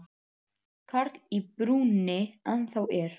Karl í brúnni ennþá er.